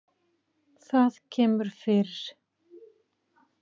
Það kemur fyrir.